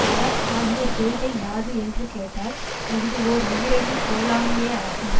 அறம் ஆகிய செய்கை யாது என்று கேட்டால் அஃது ஓர் உயிரையும் கொல்லாமையேயாகும்